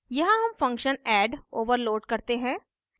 यहाँ हम function add add overload करते हैं